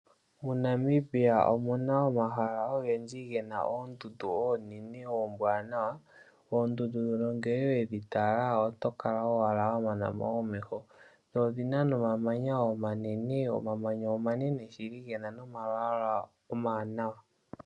MoNamibia omuna omahala ogendji gena oondundu oonene oombwanawa, oondundu ndhono ngele wedhi tala oto kala owala wa manamo omeho dho odhina noma manya omanene, omamanya omanene shili gena nomalwala omawanawa.